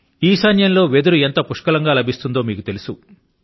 ఈశాన్యం లో వెదురు ఎంత సమృద్ధి గా లభిస్తుందో మీకు తెలుసు